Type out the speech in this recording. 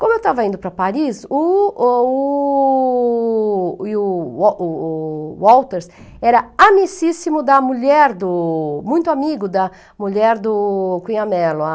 Como eu estava indo para Paris, o o o e o o Walters era amicíssimo da mulher do... Muito amigo da mulher do Cunha Mello, a...